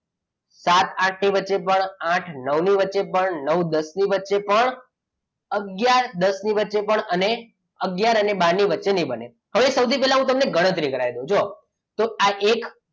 સાત આઠ ની વચ્ચે પણ આઠ નવ ની વચ્ચે પણ નવ દસ ની વચ્ચે પણ અને આગયાર દસ ની વચ્ચે નહિ બને હવે સૌથી પહેલા હું તમને ગણતરી કરી દઉં છું જો